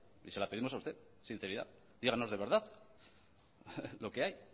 y se le pedimos a usted sinceridad díganos de verdad lo que hay